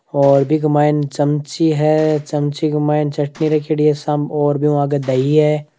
और बीके मायने चमची है चमची के मायने चटनी रखियोड़ी है सामे और बिहू आगे दही है।